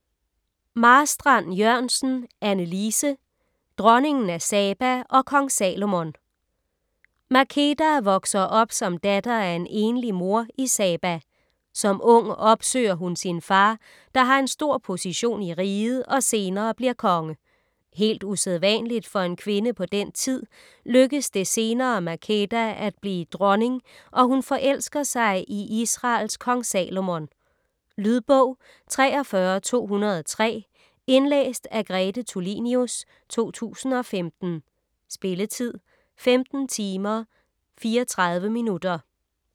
Marstrand-Jørgensen, Anne Lise: Dronningen af Saba & Kong Salomon Makeda vokser op som datter af en enlig mor i Saba. Som ung opsøger hun sin far, der har en stor position i riget og senere bliver konge. Helt usædvanligt for en kvinde på den tid, lykkes det senere Makeda at blive dronning, og hun forelsker sig i Israels Kong Salomon. Lydbog 43203 Indlæst af Grete Tulinius, 2015. Spilletid: 15 timer, 34 minutter.